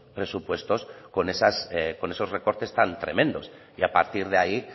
presupuestos con esos recortes tan tremendos y a partir de ahí